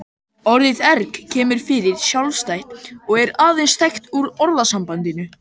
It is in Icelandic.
Orðið erg kemur ekki fyrir sjálfstætt og er aðeins þekkt úr orðasambandinu.